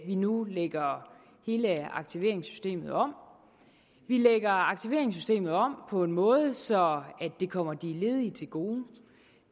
vi nu lægger hele aktiveringssystemet om vi lægger aktiveringssystemet om på en måde så det kommer de ledige til gode